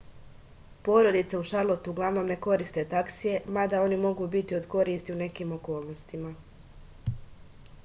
porodice u šarlotu uglavnom ne koriste taksije mada oni mogu biti od koristi u nekim okolnostima